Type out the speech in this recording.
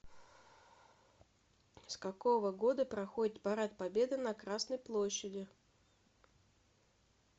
с какого года проходит парад победы на красной площади